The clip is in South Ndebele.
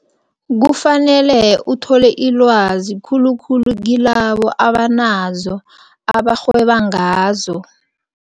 Kufanele uthole ilwazi khulukhulu kilabo abanazo, abarhweba ngazo.